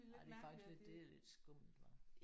Ej det er faktisk lidt det er lidt skummelt hva?